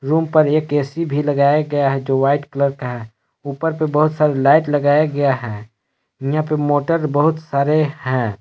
Room पर एक AC भी लगाया गया है जो वाइट कलर का है ऊपर पे बहुत सारी लाइट लगाया गया है यहां पे मोटर बहुत सारे हैं।